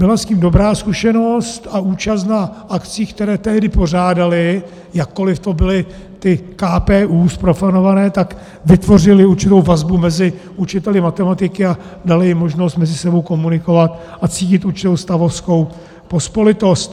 Byla s tím dobrá zkušenost a účast na akcích, které tehdy pořádali, jakkoliv to byly ty KPÚ zprofanované, tak vytvořily určitou vazbu mezi učiteli matematiky a daly jim možnost mezi sebou komunikovat a cítit určitou stavovskou pospolitost.